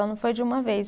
Ela não foi de uma vez.